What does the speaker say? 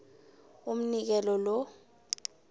umnikelo lo